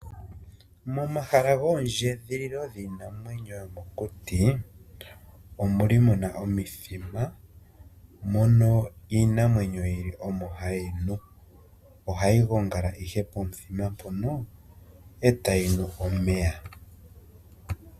Momahala goondjedhililo giinamwenyo yomokuti omuli muna omithima mono iinamwenyo yili omo hayi nu. Ohayi gongala ihe pomuthima mpono eta yi nu omeya.